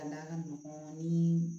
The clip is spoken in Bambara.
A n'a ka nɔgɔn ni